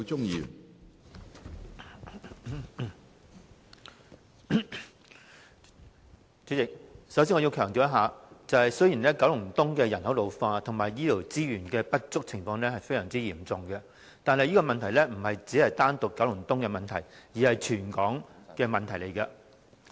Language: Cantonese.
主席，我首先要強調一點，雖然九龍東的人口老化及醫療資源不足的情況非常嚴重，但這不單是九龍東的問題，而是全港的問題。